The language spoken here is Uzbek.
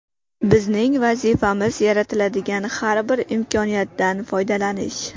Bizning vazifamiz - yaratiladigan har bir imkoniyatdan foydalanish.